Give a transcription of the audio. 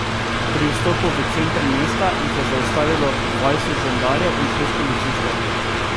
Pri vstopu v center mesta jih je zaustavilo dvajset žandarjev in šest policistov.